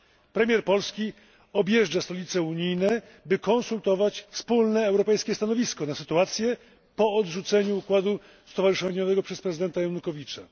Premier Polski objeżdża stolice unijne, by konsultować wspólne europejskie stanowisko odnośnie do tej sytuacji po odrzuceniu układu stowarzyszeniowego przez prezydenta Janukowycza.